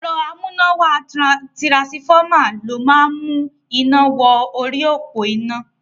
Ẹ̀rọ amúnáwá tirasifọ́mà ló ń mú iná wọ orí òpó iná.